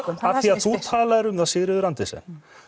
af því að þú talaði um það Sigríður Andersen